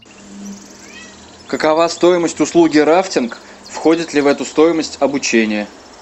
какова стоимость услуги рафтинг входит ли в эту стоимость обучение